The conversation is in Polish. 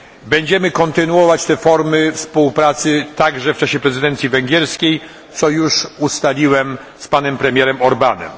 Będziemy kontynuować te formy współpracy także w czasie prezydencji węgierskiej, co już ustaliłem z panem premierem Orbánem.